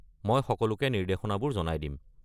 মই সকলোকে নিৰ্দেশনাবোৰ জনাই দিম।